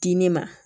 Di ne ma